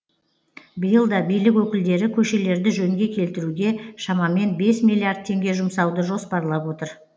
биыл да билік өкілдері көшелерді жөнге келтіруге шамамен бес миллиард теңге жұмсауды жоспарлап отыр